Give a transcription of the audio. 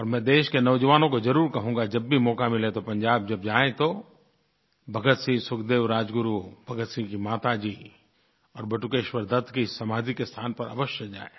और मैं देश के नौजवानों को ज़रूर कहूंगा जब भी मौका मिले तो पंजाब जब जाएँ तो भगतसिंह सुखदेव राजगुरु भगतसिंह की माताजी और बटुकेश्वर दत्त की समाधि के स्थान पर अवश्य जाएँ